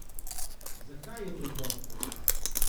Zakaj, je preprosto.